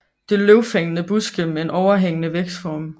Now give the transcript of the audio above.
Det er løvfældende buske med en overhængende vækstform